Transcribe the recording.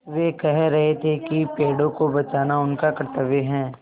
वे कह रहे थे कि पेड़ों को बचाना उनका कर्त्तव्य है